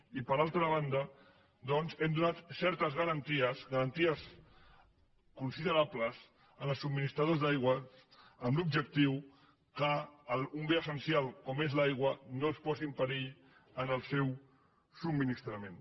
i per altra banda doncs hem donat certes garanties garanties considerables als subministradors d’aigua amb l’objectiu que d’un bé essencial com és l’aigua no es posi en perill el seu subministrament